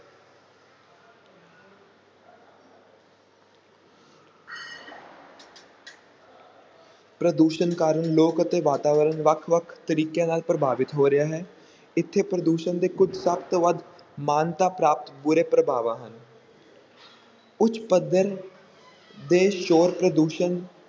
ਪ੍ਰਦੂਸ਼ਣ ਕਾਰਨ ਲੋਕ ਅਤੇ ਵਾਤਾਵਰਨ ਵੱਖ-ਵੱਖ ਤਰੀਕਿਆਂ ਨਾਲ ਪ੍ਰਭਾਵਿਤ ਹੋ ਰਿਹਾ ਹੈ, ਇੱਥੇ ਪ੍ਰਦੂਸ਼ਣ ਦੇ ਕੁਝ ਸਭ ਤੋਂ ਵੱਧ ਮਾਨਤਾ ਪ੍ਰਾਪਤ ਬੁਰੇ ਪ੍ਰਭਾਵਾਂ ਹਨ ਉੱਚ ਪੱਧਰ ਦੇ ਸ਼ੋਰ ਪ੍ਰਦੂਸ਼ਣ